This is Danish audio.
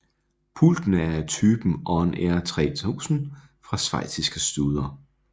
Pultene er af typen On Air 3000 fra schweiziske Studer